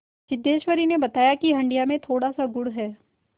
सिद्धेश्वरी ने बताया कि हंडिया में थोड़ासा गुड़ है